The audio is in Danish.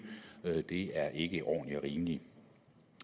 det er ikke ordentligt og rimeligt